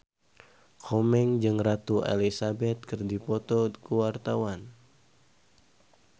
Komeng jeung Ratu Elizabeth keur dipoto ku wartawan